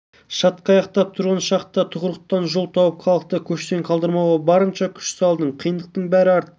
шатқаяқтап тұрған шақта тығырықтан жол тауып халықты көштен қалдырмауға барынша күш салдым қиындықтың бәрі артта